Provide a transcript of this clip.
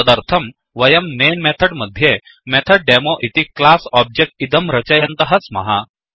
तदर्थं वयं main method मध्ये मेथड् डेमो इति क्लास् ओब्जेक्ट् इदं रचयन्तः स्मः